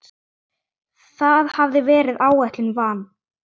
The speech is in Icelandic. Það hafði verið ætlun van